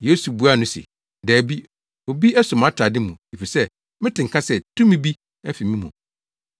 Yesu buaa no se, “Dabi, obi aso mʼatade mu efisɛ mete nka sɛ tumi bi afi me mu.”